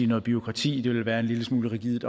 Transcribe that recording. noget bureaukrati det vil være en lille smule rigidt